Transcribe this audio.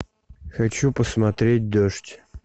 хочу посмотреть дождь